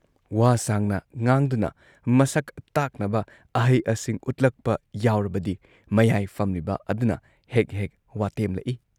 ꯋꯥ ꯁꯥꯡꯅ ꯉꯥꯡꯗꯨꯅ ꯃꯁꯛ ꯇꯥꯛꯅꯕ ꯑꯍꯩ-ꯑꯁꯤꯡ ꯎꯠꯂꯛꯄ ꯌꯥꯎꯔꯕꯗꯤ ꯃꯌꯥꯏ ꯐꯝꯂꯤꯕ ꯑꯗꯨꯅ ꯍꯦꯛ-ꯍꯦꯛ ꯋꯥꯇꯦꯝꯂꯛꯏ ꯫